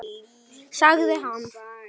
Sagði hann.